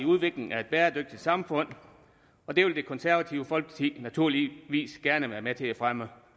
udviklingen af et bæredygtigt samfund og det vil det konservative folkeparti naturligvis gerne være med til at fremme